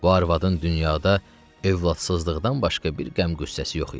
Bu arvadın dünyada övladsızlıqdan başqa bir qəm-qüssəsi yox idi.